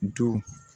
To